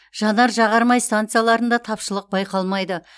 жанар жағар май станцияларында тапшылық байқалмайды